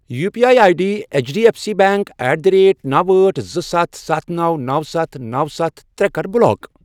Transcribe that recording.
U P I I D H D F C bank at the rate نَو، أٹھ، زٕ، سَتھ، سَتھ، نَو، نَو، سَتھ، نَو، سَتھ، ترٛے، کَر بلاک۔